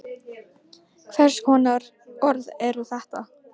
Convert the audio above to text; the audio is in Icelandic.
Hvers konar orð eru þetta?